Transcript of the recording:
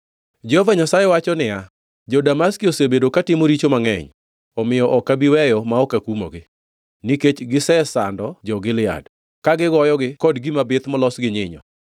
Jehova Nyasaye wacho niya, “Jo-Damaski osebedo katimo richo mangʼeny, omiyo ok abi weyo ma ok akumogi. Nikech gisesando jo-Gilead, ka gigoyogi kod gima bith molos gi nyinyo,